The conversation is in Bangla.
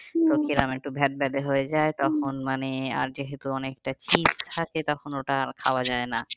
একটু হয়ে যায় মানে আর যেহেতু অনেকটা cheese থাকে আর তখন ওটা খাওয়া যায় না